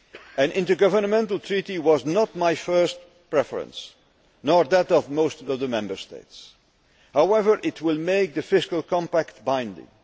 An intergovernmental treaty was not my first preference, nor that of most Member States. However, it will make the fiscal compact binding.